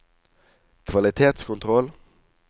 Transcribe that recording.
kvalitetskontroll